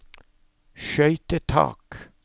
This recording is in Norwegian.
skøytetak